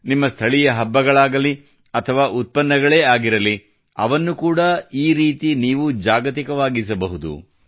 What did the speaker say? ನಿಮ್ಮ ಸ್ಥಳೀಯ ಹಬ್ಬಗಳಾಗಲಿ ಅಥವಾ ಉತ್ಪನ್ನಗಳೇ ಆಗಿರಲಿ ಅವನ್ನು ಕೂಡಾ ಈ ರೀತಿ ನೀವು ಜಾಗತಿಕವಾಗಿಸಬಹುದು